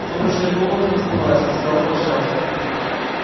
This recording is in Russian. сумрачная комната расплылась стала вращаться